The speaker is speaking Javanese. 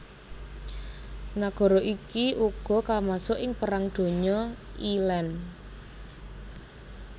Nagara iki uga kamasuk ing Perang Donya I lan